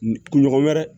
Kun ɲɔgɔn wɛrɛ